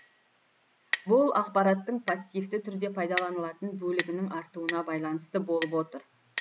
бұл ақпараттың пассивті түрде пайдаланылатын бөлігінің артуына байланысты болып отыр